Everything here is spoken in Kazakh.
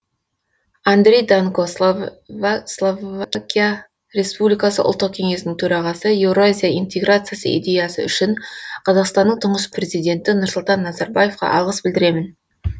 андрей данко словакия республикасы ұлттық кеңесінің төрағасы еуразия интеграциясы идеясы үшін қазақстанның тұңғыш президенті нұрсұлтан назарбаевқа алғыс білдіремін